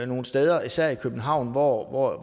nogle steder især i københavn hvor